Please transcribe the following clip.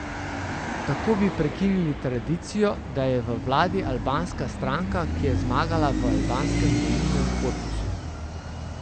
Tako bi prekinili tradicijo, da je v vladi albanska stranka, ki je zmagala v albanskem volilnem korpusu.